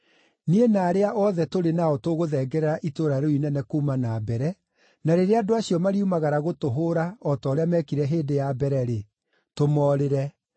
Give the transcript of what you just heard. Niĩ na arĩa othe tũrĩ nao tũgũthengerera itũũra rĩu inene kuuma na mbere na rĩrĩa andũ acio mariumagara gũtũhũũra o ta ũrĩa meekire hĩndĩ ya mbere-rĩ, tũmoorĩre.